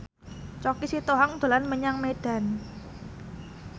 Choky Sitohang dolan menyang Medan